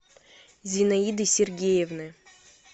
зинаиды сергеевны